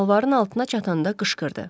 Dalvarın altına çatanda qışqırdı.